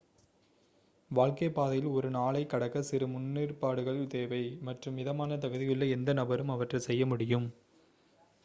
வாழ்க்கைப்பாதையில் ஒரு நாளைக் கடக்க சிறு முன்னேற்பாடுகள் தேவை மற்றும் மிதமான தகுதியுள்ள எந்த நபரும் அவற்றை செய்ய முடியும்